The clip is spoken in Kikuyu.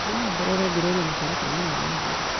No wongerere Gũloria mũtaratara-inĩ wa wa agũri.